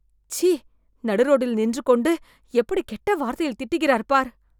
சீ.. நடு ரோட்டில் நின்று கொண்டு எப்படி கெட்ட வார்த்தையில் திட்டுகிறார் பார்..